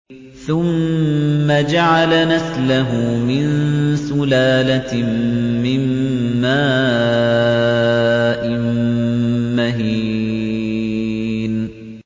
ثُمَّ جَعَلَ نَسْلَهُ مِن سُلَالَةٍ مِّن مَّاءٍ مَّهِينٍ